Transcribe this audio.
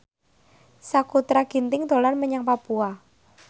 Sakutra Ginting dolan menyang Papua